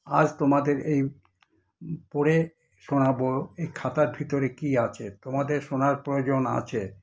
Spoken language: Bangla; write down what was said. আজ তোমাদের এই পড়ে শোনাবো এই খাতার ভিতরে কী আছে, তোমাদের শোনার প্রয়োজন আছে।